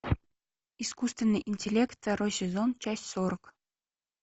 искусственный интеллект второй сезон часть сорок